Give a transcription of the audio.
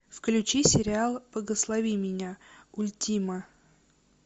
включи сериал благослови меня ультима